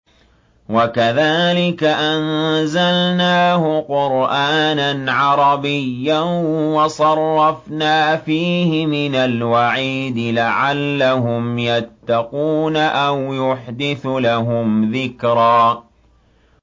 وَكَذَٰلِكَ أَنزَلْنَاهُ قُرْآنًا عَرَبِيًّا وَصَرَّفْنَا فِيهِ مِنَ الْوَعِيدِ لَعَلَّهُمْ يَتَّقُونَ أَوْ يُحْدِثُ لَهُمْ ذِكْرًا